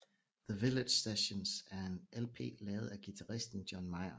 The Village Sessions er en LP lavet af guitaristen John Mayer